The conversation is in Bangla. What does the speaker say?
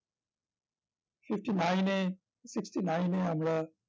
fifty-nine এ fifty-nine এ আমরা